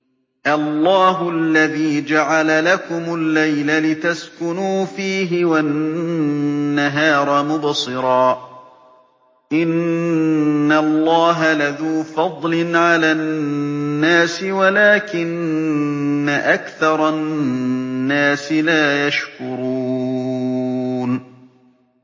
اللَّهُ الَّذِي جَعَلَ لَكُمُ اللَّيْلَ لِتَسْكُنُوا فِيهِ وَالنَّهَارَ مُبْصِرًا ۚ إِنَّ اللَّهَ لَذُو فَضْلٍ عَلَى النَّاسِ وَلَٰكِنَّ أَكْثَرَ النَّاسِ لَا يَشْكُرُونَ